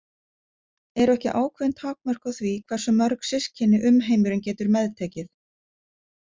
Eru ekki ákveðin takmörk á því hversu mörg systkini umheimurinn getur meðtekið?